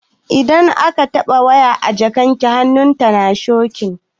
Idan aka taɓa waya da jikakken hannu tana shokin.